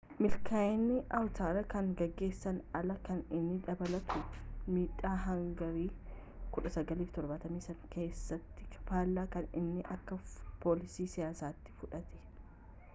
milkaa'ini vawuteer kan gaggeessun alaa kan inni dabalatu midhaa hangarii 1973 keessatti fallaa kan inni akka foolii siyaasati fudhate